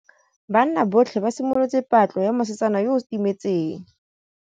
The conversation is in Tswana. Banna botlhê ba simolotse patlô ya mosetsana yo o timetseng.